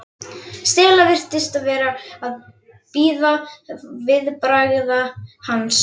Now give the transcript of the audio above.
Stella virtist vera að bíða viðbragða hans.